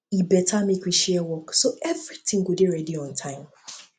e better make we share work so everything go um dey ready um on time